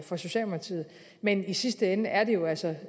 for socialdemokratiet men i sidste ende er det jo altså